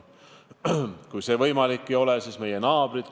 Kui see võimalik ei ole, siis pöördume oma naabrite poole.